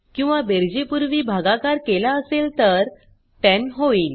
किंवा बेरजे पुर्वी भगाकार केला असेल तर 10 होईल